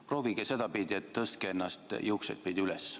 Proovige sedapidi, et tõstate ennast juukseidpidi üles.